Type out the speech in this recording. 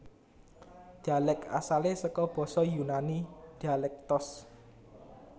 Dhialèk asalé saka basa Yunani dialektos